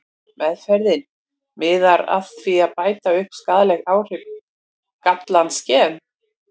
Meðferðin miðar að því að bæta upp skaðleg áhrif gallaðs gens.